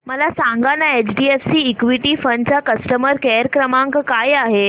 मला सांगाना HDFC equity fund चा कस्टमर केअर क्रमांक काय आहे